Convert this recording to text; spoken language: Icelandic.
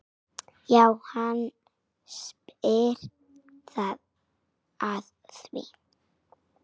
Já, hann spyr að því?